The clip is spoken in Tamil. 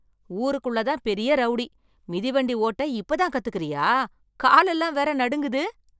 ஊருக்குள்ள தான் பெரிய ரௌடி, மிதிவண்டி ஓட்ட இப்ப தான் கத்துக்குறியா, காலெல்லாம் வேற நடுங்குது.